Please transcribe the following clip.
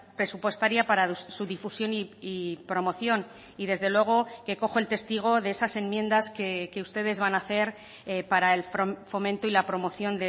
presupuestaria para su difusión y promoción y desde luego que cojo el testigo de esas enmiendas que ustedes van a hacer para el fomento y la promoción